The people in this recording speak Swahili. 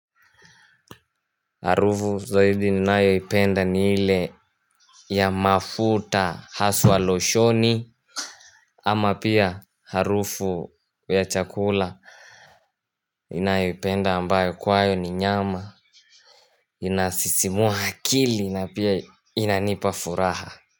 Harufu zaidi ninayo ipenda ni hile ya mafuta haswa loshoni ama pia harufu ya chakula ninayo ipenda ambayo kwayo ni nyama. Inasisimua akili na pia inanipafuraha.